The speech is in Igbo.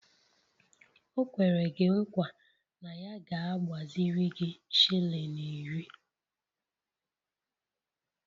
O kwere gi nkwa na ya ga-agbaziri gi shilling iri